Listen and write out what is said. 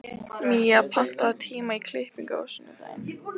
Mía, pantaðu tíma í klippingu á sunnudaginn.